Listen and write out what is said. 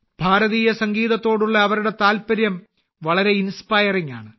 ഭാരതീയ സംഗീതത്തോടുള്ള അവളുടെ താല്പര്യം വളരെ പ്രചോദനാത്മകമാണ്